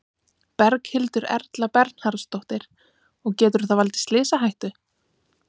Berghildur Erla Bernharðsdóttir: Og getur það valdið slysahættu?